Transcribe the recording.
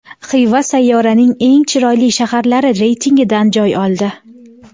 Xiva sayyoraning eng chiroyli shaharlari reytingidan joy oldi .